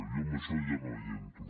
jo en això ja no hi entro